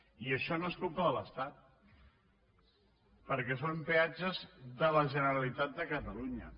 i això no és culpa de l’estat perquè són peatges de la generalitat de catalunya